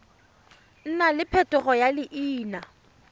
nna le phetogo ya leina